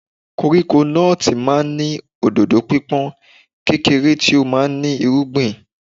Koríko nọ́ọ̀tì máa ń ní òdòdó pípọ́n, kékeré tó máa ń ní irúgbìn.